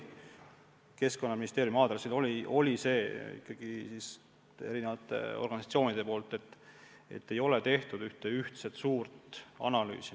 Keskkonnaministeeriumi on erinevad organisatsioonid kritiseerinud, et ei ole tehtud ühte ühtset suurt analüüsi.